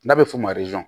N'a bɛ f'o ma